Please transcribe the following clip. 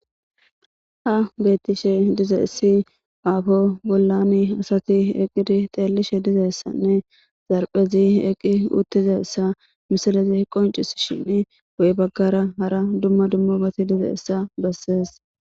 ha beettishe diza essi aafo bollami asati eqqidi xeellishe dizessanne zarphezi eqqi uttizassa misalezi qoncis shin woy baggara hara dumma dummobati diza essa bessees